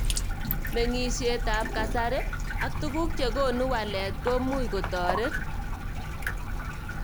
Meng'shet ab kasari ak tukuk chekonu walet komuch kotoret.